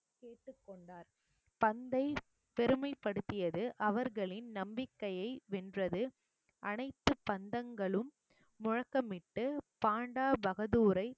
கேட்டுக்கொண்டார் பந்தை பெருமைப்படுத்தியது அவர்களின் நம்பிக்கைய வென்றது அனைத்து பந்தங்களும் முழக்கமிட்டு பண்டா பகதூரை